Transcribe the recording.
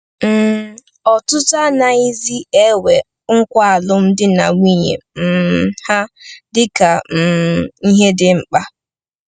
um Ọtụtụ anaghịzi ewere nkwa alụmdi na nwunye um ha dị ka um ihe dị mkpa.